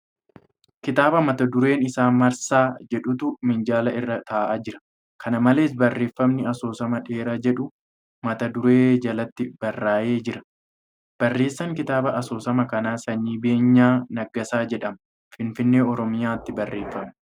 Kitaaba mata dureen isaa 'Marsaa' jedhutu minjaala irra taa'aa jira. Kana malees , Barreeffamni 'Asoosama dheeraa' jedhu mata duree jalatti barraa'ee jira. Barreessan kitaaba asoosamaa kanaa Sanyii Beenyaa Nagaasaa jedhama. Finfinnee, Oromiyaatti barreeffame.